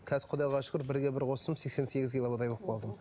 қазір құдайға шүкір бірге бір қостым сексен сегіз килодай болып қалдым